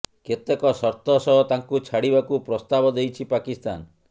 କେତେକ ସର୍ତ୍ତ ସହ ତାଙ୍କୁ ଛାଡିବାକୁ ପ୍ରସ୍ତାବ ଦେଇଛି ପାକିସ୍ତାନ